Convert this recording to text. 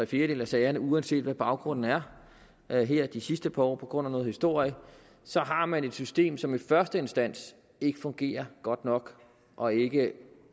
fjerdedele af sagerne uanset hvad baggrunden er er her de sidste par år på grund af noget historie så har man et system som i første instans ikke fungerer godt nok og ikke